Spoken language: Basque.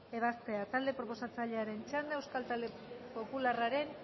ebazpena talde proposatzailearen txanda euskal talde popularraren